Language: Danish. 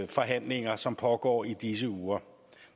forhandlinger som pågår i disse uger